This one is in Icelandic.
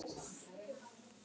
Heldur áfram að tala um Þór: